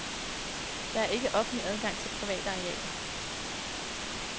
Der er ikke offentlig adgang til private arealer.